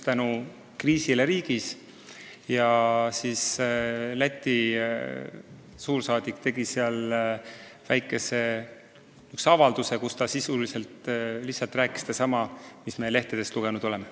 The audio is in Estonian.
Lätis oli puhkenud kriis ja Läti suursaadik tegi seal väikese avalduse, kus ta sisuliselt rääkis sedasama, mida me lehtedest lugenud oleme.